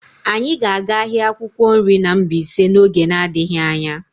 Anyị ga-aga ahịa akwukwo nri na Mbaise n'oge n'adịghị anya.